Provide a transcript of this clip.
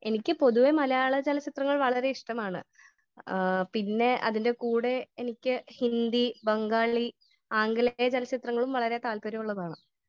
Speaker 1 എനിക്ക് പൊതുവെ മലയാള ചലച്ചിത്രങ്ങൾ വളരെ ഇഷ്ടമാണ് . പിന്നെ അതിന്റെ കൂടെ എനിക്ക് ഹിന്ദി ,ബംഗാളി , ആംഗലേയ ചലച്ചിത്രങ്ങളും വളരെ താൽപ്പര്യമുള്ളതാണ് .